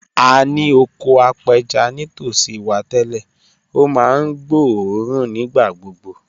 A ní oko apẹja nítòsí wa tẹ́lẹ̀, ó máa ń gbóòórùn nígbà gbogbo